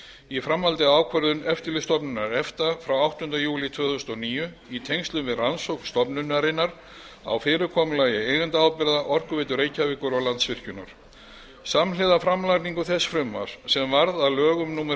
í framhaldi af ákvörðun eftirlitsstofnunar efta frá áttunda júlí tvö þúsund og níu í tengslum við rannsókn stofnunarinnar á fyrirkomulagi eigendaábyrgða orkuveitu reykjavíkur og landsvirkjunar samhliða framlagningu þess frumvarps sem varð að lögum númer